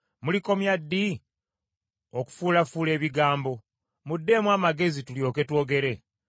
“Mulikomya ddi okufuulafuula ebigambo? Muddeemu amagezi, tulyoke twogere.